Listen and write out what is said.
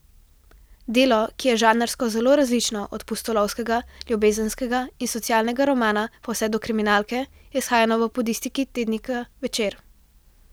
Delo, ki je žanrsko zelo različno, od pustolovskega, ljubezenskega in socialnega romana pa vse do kriminalke, je izhajalo v podlistkih tednika Večer.